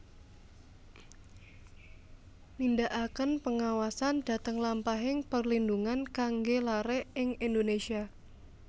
Nindakaken pengawasan dhateng lampahing perlindhungan kanggé laré ing Indonésia